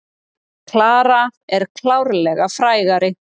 Klara er klárlega frægari.